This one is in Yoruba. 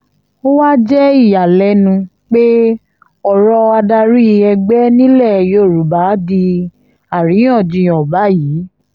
ó wáá jẹ́ ìyàlẹ́nu pé ọ̀rọ̀ adarí ẹgbẹ́ nílẹ̀ yorùbá di àríyànjiyàn báyìí